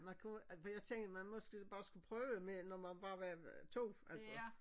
Man kunne at for jeg tænkte man måske bare skulle prøve med når man bare var 2 altså